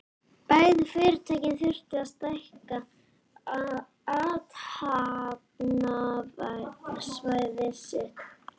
Bæði fyrirtækin þurftu að stækka athafnasvæði sitt.